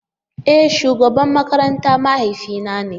E! shugaban makaranta mahaifi na ne.